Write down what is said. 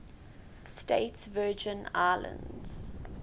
states virgin islands